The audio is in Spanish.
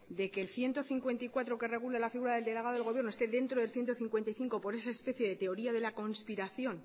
de que el ciento cincuenta y cuatro que regula la figura del delegado del gobierno esté dentro del ciento cincuenta y cinco por esa especie de teoría de la conspiración